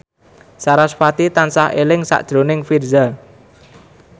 sarasvati tansah eling sakjroning Virzha